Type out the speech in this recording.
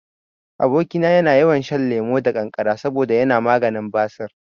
Aboki na yana yawan shan lemo da kankara saboda yana maganin basir